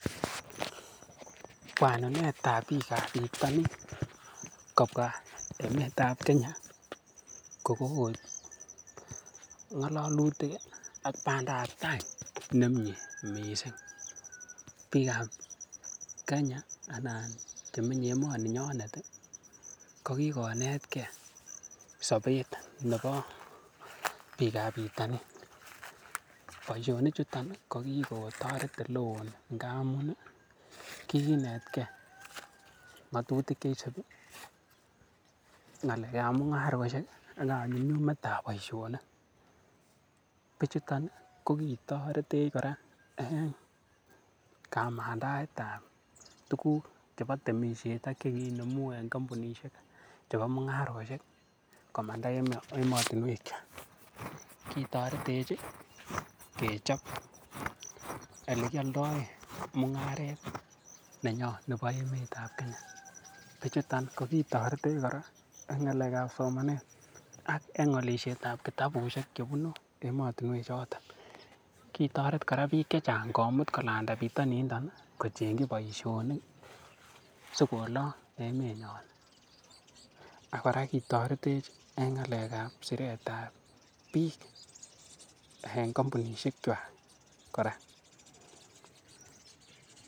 Bwanunet ab biikab bitonin kobwa emetab Kenya ko kogoib ng'alalutik ak bandap tai nemyee mising. Biikab Kenya anan chemenye emoni nyonet kogikonetkei chobet nebo biikab bitonin. Boisionichuto kogikotoret ole oo ngamun kigiinetkei ng'atutik che isubii, ng'alekab mung'arosiek ak kanyumnyumetab boisionik. Bichuto kogitoretech kora en kamandaetab tuguk chebo temisiet ak che kinemu en kompunisiek chebo mung'arosiek komanda emotinwek. Kitoretech kechob ele kioldoen mung'aret nenyon nebo emet ab Kenya. Bichuto kogitoretech kora en ng'alekab somanet aka en olishet ab kitabusiek chebunu emotinwek choto kitoret koraa biik che chang komut kolanda bitoninito kochengi boisionik si kolong emenyon ak kora kitoret en ng'alekab siretab biik en kompunishek kwak kora.